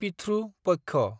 पिथ्रु पक्ष